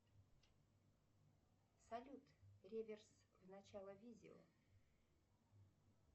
салют реверс в начало видео